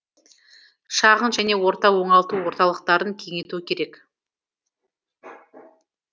шағын және орта оңалту орталықтарын кеңейту керек